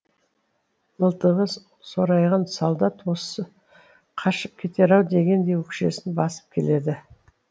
мылтығы сорайған солдат осы қашып кетер ау дегендей өкшесін басып келеді